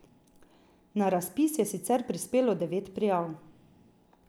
Na razpis je sicer prispelo devet prijav.